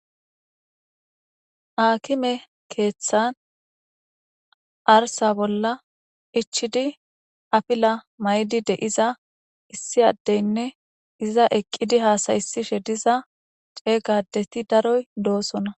aakime keeththan arsa bolla ichidi apila maydi de7iza issi addeynne iza eqqidi haasaysishe diza ceeygadeti daroy doosona